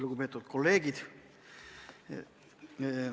Lugupeetud kolleegid!